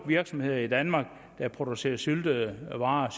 virksomheder i danmark der producerer syltede varer